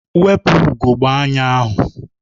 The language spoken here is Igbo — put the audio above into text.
Wepu ugogbe anya ahụ!